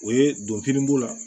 O ye don kelen bu la